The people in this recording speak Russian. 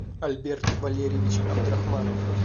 альберт валерьевич абдрахманов